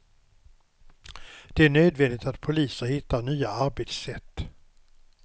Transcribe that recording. Det är nödvändigt att polisen hittar nya arbetssätt.